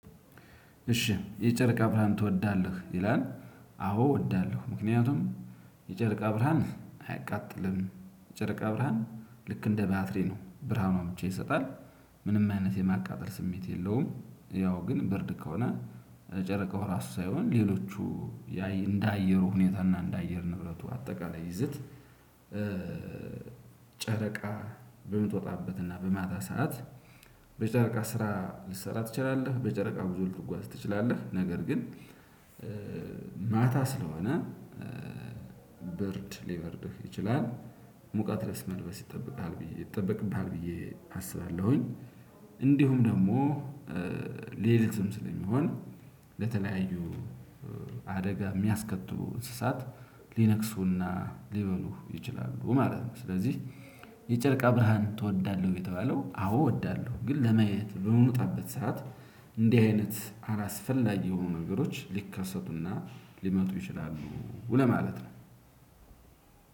እሺ የጨረቃ ብርሃን ትወዳለህ ይላል? አዎ እወዳለሁ። ምክንያቱም የጨረቃ ብርሃን አያቃጥልም ጨርቃ ብርሃን ልክ እንደ ባትሪ ነው ብርሃኑን ብቻ ይሰጣል። ምንም አይነት የማቃጠል ስሜት የለውም። ያው ግን ብርድ ከሆነ ጨረቃው ራሱ ሳይሆን ሌሎቹ እንደ አየሩ ሁኔታና እንደ አየር ንብረቱ አጠቃላይ ይዝት። ጨረቃ በምትወጣበትና በማታ ሰዓት በጨረቃ ስራ ልትሰራ ትችላለህ በጨረቃ ብዙ ልትጓዝ ትችላለህ። ነገር ግን ማታ ስለሆነ ብርድ ልበርድህ ይችላል ሙቀት ልብስ መልበስ ይጠብቃል ብዬ ይጠበቅብሃል ብዬ አስባለሁኝ። እንዲሁም ደግሞ ሌሊትም ስለሚሆን ለተለያዩ አደጋ የሚያስከትሉ እንስሳት ልነክሱና ልበሉ ይችላሉ ማለት ነው። ስለዚህ የጨርቃ ብርሃን ትወዳለህ? ወይ የተባለው አዎ እወዳለሁ ግን ለማየት በምውጣበት ሰዓት እንዲህ አይነት አላስፈላጊ የሆኑ ነገሮች ሊከሰቱና ሊመጡ ይችላሉ ለማለት ነው።